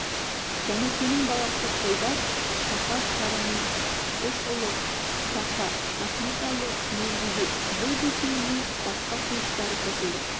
жәнікенің баласы қойбас сахар сарының үш ұлы бақа рахметәлі мелдебек бұл бесеуіне басқа туыстары қосылады